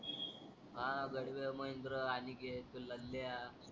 हा गाडवे महिंद्र आनीकेत तो लल्या.